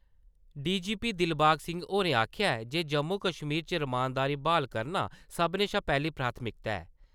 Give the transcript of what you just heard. DGP Dilbag Singh होरें आखेआ ऐ जे जम्मू-कश्मीर च रमानदारी ब्हाल करना सब्भनें शा पैह्‌ली प्राथमिकता ऐ ।